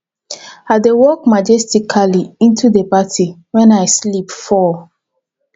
i dey walk majestically into the party wen i slip fall